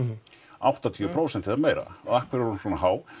áttatíu prósent eða meira og af hverju er hún svona há